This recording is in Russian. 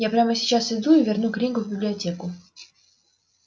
я прямо сейчас иду и верну книгу в библиотеку